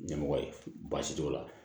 Ɲɛmɔgɔ ye baasi t'o la